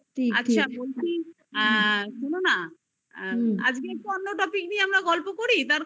আচ্ছা বলছি আ শুনো না আজকে আমরা অন্য topic নিয়ে আমরা গল্প করি তার কারণ